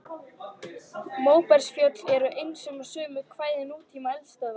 Móbergsfjöll eru einkum á sömu svæðum og nútíma eldstöðvar.